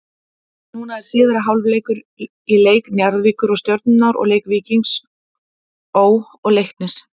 Núna er síðari hálfleikur í leik Njarðvíkur og Stjörnunnar og leik Víkings Ó. og Leiknis.